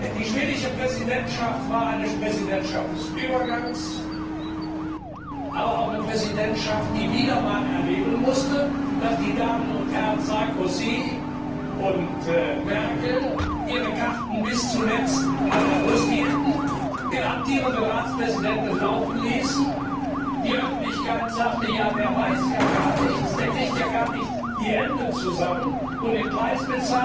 Die schwedische Präsidentschaft war eine Präsidentschaft des Übergangs, aber auch eine Präsidentschaft, die wieder einmal erleben musste, dass die Damen und Herren Merkel und Sarkozy ihre Karten bis zuletzt an der Brust hielten, den amtierenden Ratspräsidenten laufen die Öffentlichkeit sagte Ja, der weiß ja gar nichts, der bekommt ja gar nicht die Enden zusammen und den Preis